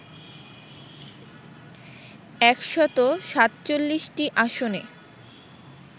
১৪৭টি আসনে